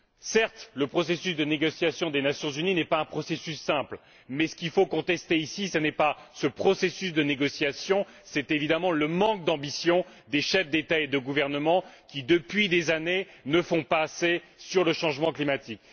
Certes, le processus de négociation des Nations unies n'est pas un processus simple, mais ce qu'il faut contester ici, ce n'est pas ce processus de négociation, c'est évidemment le manque d'ambition des chefs d'État et de gouvernement qui, depuis des années, ne font pas assez en matière de changement climatique.